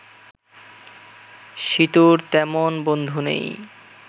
সীতুর তেমন বন্ধু নেই